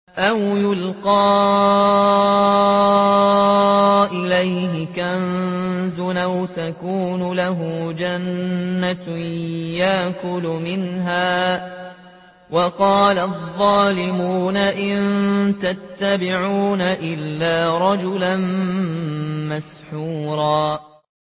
أَوْ يُلْقَىٰ إِلَيْهِ كَنزٌ أَوْ تَكُونُ لَهُ جَنَّةٌ يَأْكُلُ مِنْهَا ۚ وَقَالَ الظَّالِمُونَ إِن تَتَّبِعُونَ إِلَّا رَجُلًا مَّسْحُورًا